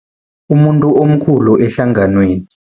Umuntu omkhulu ehlanganweni.